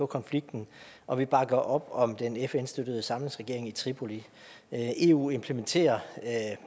konflikten og vi bakker op om den fn støttede samlingsregering i tripoli eu implementerer